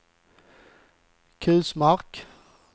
Kusmark